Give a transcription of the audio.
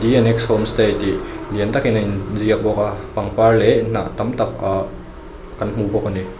homestay tih lian tak in a in ziak bawk a pangpar leh hnah tam tak ahh kan hmu bawk a ni.